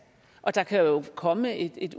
der kan jo komme et